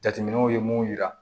Jateminɛw ye mun yira